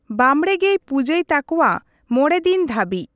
ᱵᱟᱢᱲᱮ ᱜᱮᱭ ᱯᱩᱡᱟᱹᱭ ᱛᱟᱠᱚᱣᱟ ᱢᱚᱲᱮᱫᱤᱱ ᱫᱷᱟᱹᱵᱤᱡ ᱾